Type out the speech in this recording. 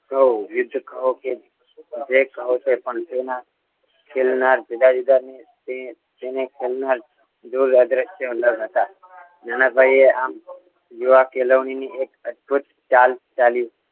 કહો યુદ્ધ કહો કે જે કહો પણ તેના ખેલના જુદા જુદા જો ખેલના અદ્રશ્યો ન હતા નાના ભાઈએ આમ યુવા ખેલવણીની એક અદભુત ચાલ ચાલી